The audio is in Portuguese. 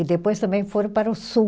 E depois também foram para o sul.